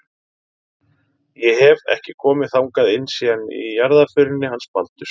Ég hef. ekki komið þangað inn síðan í jarðarförinni hans Baldurs.